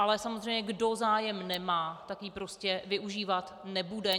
Ale samozřejmě kdo zájem nemá, tak ji prostě užívat nebude.